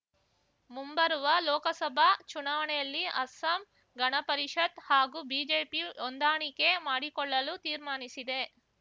ಮುಂಬರುವ ಲೋಕಸಭಾ ಚುನಾವಣೆಯಲ್ಲಿ ಅಸ್ಸಾಂ ಗಣಪರಿಷತ್ ಹಾಗೂ ಬಿಜೆಪಿ ಹೊಂದಾಣಿಕೆ ಮಾಡಿಕೊಳ್ಳಲು ತೀರ್ಮಾನಿಸಿದೆ